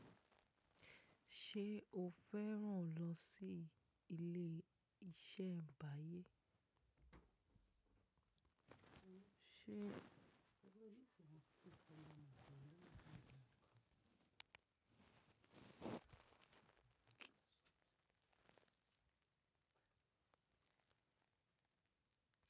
Ṣé o fẹ́ràn lọ sí ilé-iṣẹ́ ìbàyẹ̀?